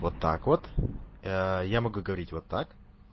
вот так вот я могу говорить вот так